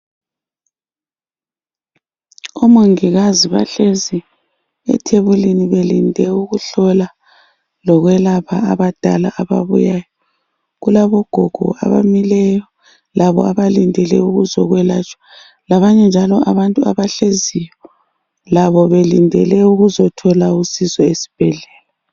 Omongikazi bahlezi ethebulini belinde ukuhlola lokwelapha abadala ababuyayo. Kulabogogo abamileyo labo abalindele ukuzokwelatshwa labanye njalo abantu abahleziyo labo belindele ukuzothola usizo esibhedlela.